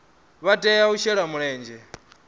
vha tea u shela mulenzhe